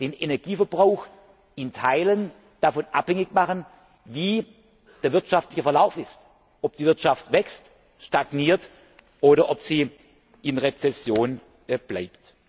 den Energieverbrauch in Teilen davon abhängig machen, wie der wirtschaftliche Verlauf ist, ob die Wirtschaft wächst, stagniert oder ob sie in Rezession bleibt.